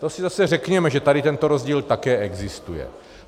To si zase řekněme, že tady tento rozdíl také existuje.